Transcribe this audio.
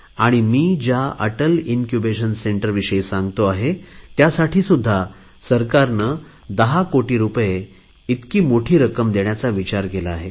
आणि मी त्या अटल इन्क्युबेशन सेंटर विषयी सांगतो आहे त्यासाठी सुध्दा 10 कोटी रुपये इतकी मोठी रक्कम देण्या सरकारचा विचार आहे